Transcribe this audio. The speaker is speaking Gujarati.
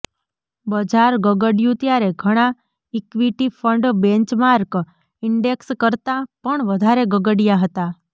બજાર ગગડ્યું ત્યારે ઘણા ઇક્વિટી ફંડ બેન્ચમાર્ક ઇન્ડેક્સ કરતાં પણ વધારે ગગડ્યા હતા